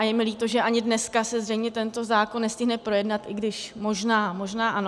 A je mi líto, že ani dneska se zřejmě tento zákon nestihne projednat, i když možná, možná ano.